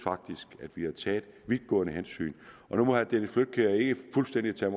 at vi har taget vidtgående hensyn nu må herre dennis flydtkjær ikke fuldstændig tage